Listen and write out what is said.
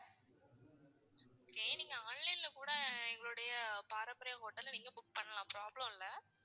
நீங்க online ல கூட எங்களுடைய பாரம்பரியம் ஹோட்டல்ல நீங்க book பண்ணலாம். problem இல்ல.